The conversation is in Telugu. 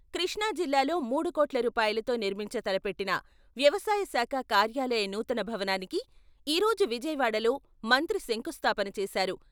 కృష్ణా జిల్లాలో మూడు కోట్ల రూపాయలతో నిర్మించ తలపెట్టిన వ్యవసాయశాఖ కార్యాలయ నూతన భవనానికి ఈ రోజు విజయవాడలో మంత్రి శంకుస్థాపన చేశారు.